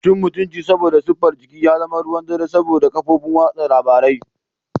Cin mutunci saboda siffar jiki ya zama ruwan dare saboda kafofin watsa labaru.